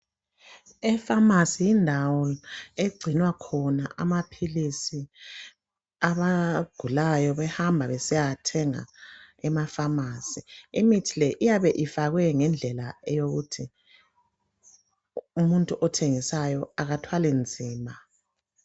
E"pharmacy " yindawo egcina khona amaphilisi abagulayo behamba besiyawathenga em"apharmacy" .Imithi le iyabe ifakwe ngendlela eyokuthi umuntu othengisayo akathwali nzima.